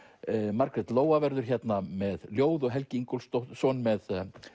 Margrét Lóa verður hérna með ljóð og Helgi Ingólfsson með